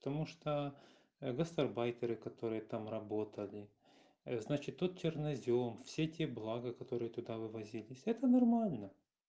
потому что гастарбайтеры которые там работали значит тут чернозём все те блага которые туда вывозились это нормально